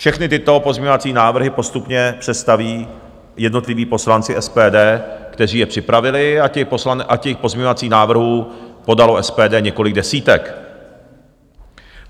Všechny tyto pozměňovací návrhy postupně představí jednotliví poslanci SPD, kteří je připravili, a těch pozměňovacích návrhů podalo SPD několik desítek.